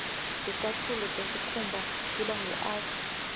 ticatfulo tesikhumba tiba ngur